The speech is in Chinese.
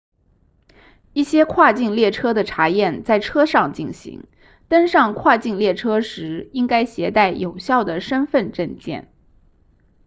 一些跨境列车的查验在车上进行登上跨境列车时应该携带有效的身份证件